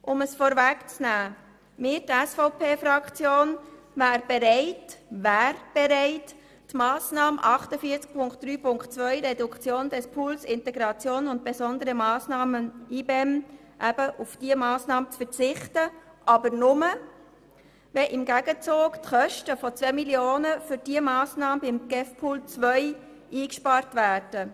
Um es vorwegzunehmen: Die SVP-Fraktion wäre bereit, auf die Massnahme 48.3.2 «Reduktion des Pools Integration und besondere Massnahmen (IBEM)» zu verzichten, aber nur, wenn im Gegenzug die Kosten von 2 Mio. Franken für diese Massnahme beim GEF-Pool 2 eingespart würden.